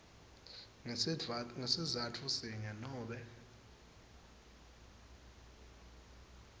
ngesizatfu sinye nobe